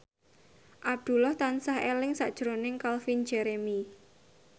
Abdullah tansah eling sakjroning Calvin Jeremy